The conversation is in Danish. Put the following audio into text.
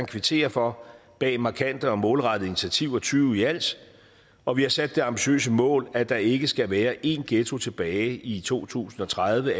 kvittere for bag markante og målrettede initiativer tyve i alt og vi har sat det ambitiøse mål at der ikke skal være én ghetto tilbage i to tusind og tredive